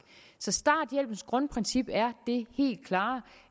så starthjælpens grundprincip er det helt klare